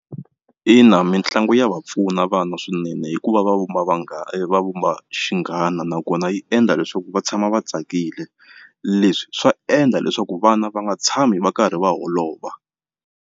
Ina, mitlangu ya va pfuna vana swinene hikuva va vumba va vumba xinghana nakona yi endla leswaku va tshama va tsakile leswi swa endla leswaku vana va nga tshami va karhi va holova.